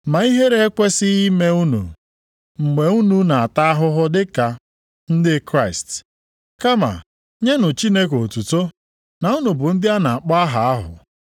Ma ihere ekwesighị ime unu mgbe unu na-ata ahụhụ dị ka ndị Kraịst. Kama nyenụ Chineke otuto na unu bụ ndị a na-akpọ aha ahụ.